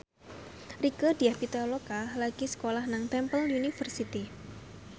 Rieke Diah Pitaloka lagi sekolah nang Temple University